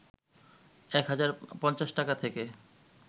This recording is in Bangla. ১হাজার ৫০ টাকা থেকে